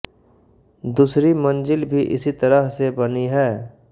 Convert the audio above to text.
दूसरी मंजिल भी इसी तरह से बनी है